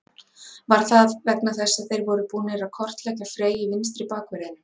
Var það vegna þess að þeir voru búnir að kortleggja Frey í vinstri bakverðinum?